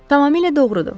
Tamamilə doğrudur.